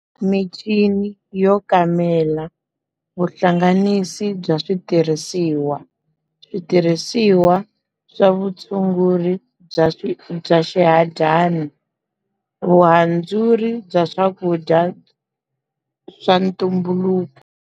Minchini yo kamela, vuhlanganisi bya switirhisiwa, switirhisiwa swa vutshunguri bya swi bya swihadyana, vuhandzuri bya swakudya swa ntumbuluko.